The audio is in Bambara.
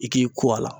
I k'i ko a la